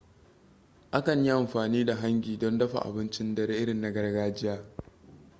a kan yi amfani da hangi don dafa abincin dare irin na gargajiya